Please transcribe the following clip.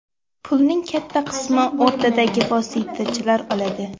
Pulning katta qismini o‘rtadagi vositachilar oladi.